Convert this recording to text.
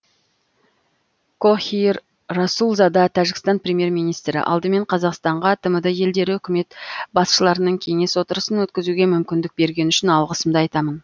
кохир расулзада тәжікстан премьер министрі алдымен қазақстанға тмд елдері үкімет басшыларының кеңес отырысын өткізуге мүмкіндік бергені үшін алғысымды айтамын